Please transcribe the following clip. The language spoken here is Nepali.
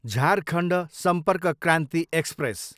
झारखण्ड सम्पर्क क्रान्ति एक्सप्रेस